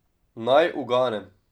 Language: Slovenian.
Naj uganem.